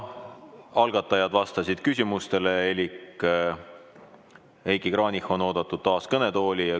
Algatajad vastasid küsimustele elik Heiki Kranich on oodatud taas kõnetooli.